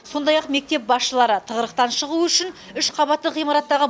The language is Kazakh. сондай ақ мектеп басшылары тығырықтан шығу үшін үш қабатты ғимараттағы